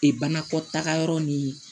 Ee banakɔtaga yɔrɔ ni